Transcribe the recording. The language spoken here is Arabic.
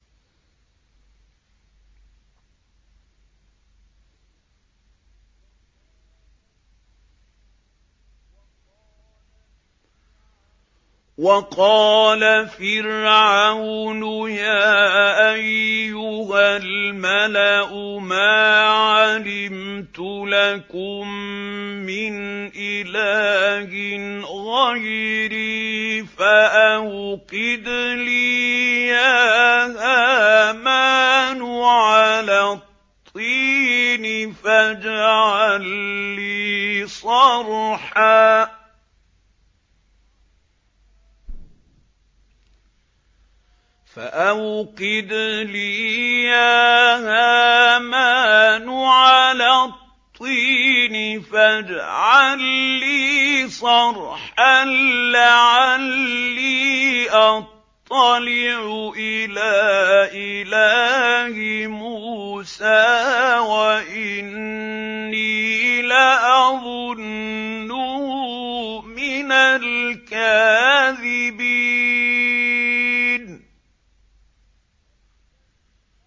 وَقَالَ فِرْعَوْنُ يَا أَيُّهَا الْمَلَأُ مَا عَلِمْتُ لَكُم مِّنْ إِلَٰهٍ غَيْرِي فَأَوْقِدْ لِي يَا هَامَانُ عَلَى الطِّينِ فَاجْعَل لِّي صَرْحًا لَّعَلِّي أَطَّلِعُ إِلَىٰ إِلَٰهِ مُوسَىٰ وَإِنِّي لَأَظُنُّهُ مِنَ الْكَاذِبِينَ